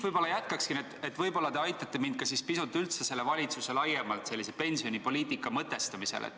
Ma jätkan siit, võib-olla te aitate mind ka pisut üldse laiemalt selle valitsuse pensionipoliitika mõtestamisel.